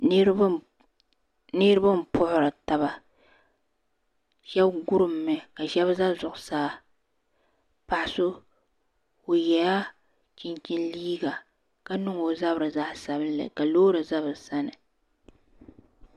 Niriba n puhiri taba shɛb kurum mi ka shɛb za zuɣusaa paɣi so o yɛla chinchini liiga ka niŋ o zabiri zaɣi sabinli ka loori za bi sani